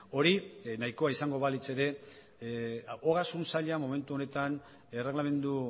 hori nahikoa izango balitz ere ogasun saila momentu honetan erreglamendu